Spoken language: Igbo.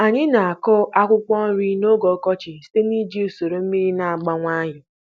Anyị na-akụ akwụkwọ nri n'oge ọkọchị site na iji usoro mmiri na-agba nwayọ.